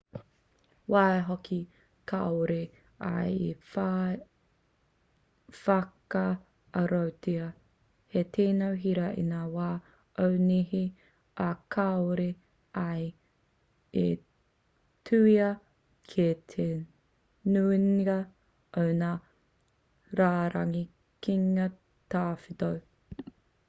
waihoki kāore ia i whai whakaarotia hei tino hira i ngā wā o nehe ā kāore ia i tuhia ki te nuinga o ngā rārangi kīngi tawhito